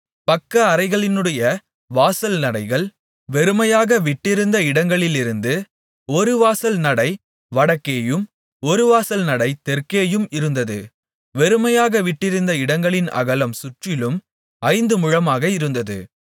பக்கஅறைகளினுடைய வாசல்நடைகள் வெறுமையாக விட்டிருந்த இடங்களிலிருந்து ஒரு வாசல் நடை வடக்கேயும் ஒரு வாசல்நடை தெற்கேயும் இருந்தது வெறுமையாக விட்டிருந்த இடங்களின் அகலம் சுற்றிலும் ஐந்து முழமாக இருந்தது